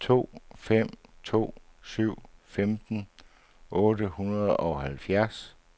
to fem to syv femten otte hundrede og halvfjerds